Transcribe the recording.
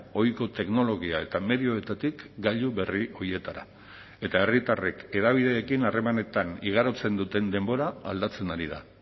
ohiko teknologia eta medioetatik gailu berri horietara eta herritarrek hedabideekin harremanetan igarotzen duten denbora aldatzen ari da